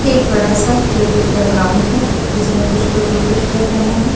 एक बड़ा सा क्रिकेट का ग्राउंड है जिसमें कुछ लोग क्रिकेट खेल रहे हैं।